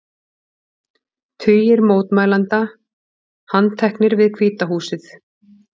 Tugir mótmælenda handteknir við Hvíta húsið